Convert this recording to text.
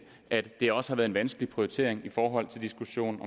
at det også har været vanskeligt prioritering i forhold til diskussionen